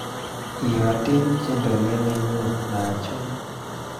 Iyoten tiendo ni nenyu naachome